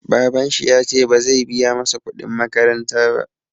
Babanshi yace bazai biya masa kuɗin makaranta ba